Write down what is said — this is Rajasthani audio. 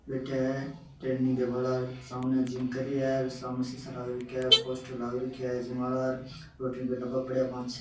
बैठा है ट्रेनिंग के बाद सामने जिम कर रिया है सामने सीसा लाग रखा है पोस्टर लाग रख्या है जिम वाला और प्रोटीन का डब्बा पड़या है पांच छः।